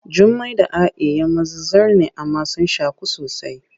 Jummai da A’i ‘yan maza zar ne amma sun shaku sosai.